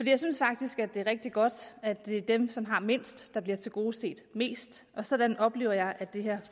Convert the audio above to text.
jeg synes faktisk at det er rigtig godt at det er dem som har mindst der bliver tilgodeset mest og sådan oplever jeg at det her